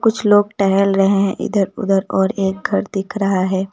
कुछ लोग टहल रहे हैं इधर उधर और एक घर दिख रहा है।